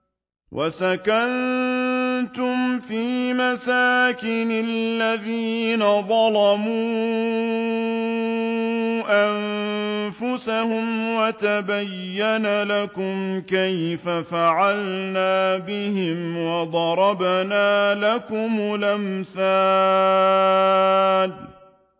وَسَكَنتُمْ فِي مَسَاكِنِ الَّذِينَ ظَلَمُوا أَنفُسَهُمْ وَتَبَيَّنَ لَكُمْ كَيْفَ فَعَلْنَا بِهِمْ وَضَرَبْنَا لَكُمُ الْأَمْثَالَ